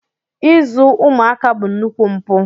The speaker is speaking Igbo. Izu ụmụaka bụ nnukwu mpụ.